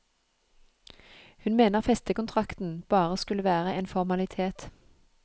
Hun mener festekontrakten bare skulle være en formalitet.